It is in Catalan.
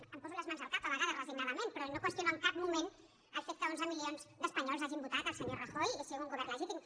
me’n poso les mans al cap a vegades resignadament però no qüestiono en cap moment el fet que onze milions d’espanyols hagin votat el senyor rajoy i sigui un govern legítim